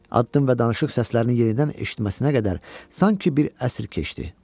Addım və danışıq səslərini yenidən eşitməsinə qədər sanki bir əsr keçdi.